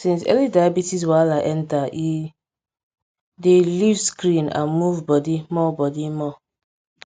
since early diabetes wahala enter e dey leave screen and move body more body more